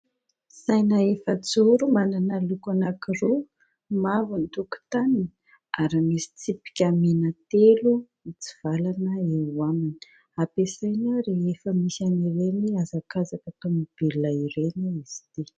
Saina efajoro manana loko anankiroa mavo ny tokotaniny ary misy tsipika mina telo mitsivalana eo aminy, ampiasaina rehefa misy an'ireny hazakazaka tomobilina ireny izy ity.